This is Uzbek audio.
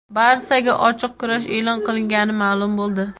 "Barsa"ga ochiq kurash e’lon qilgani ma’lum bo‘ldi;.